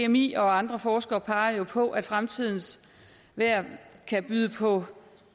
dmi og andre forskere peger jo på at fremtidens vejr kan byde på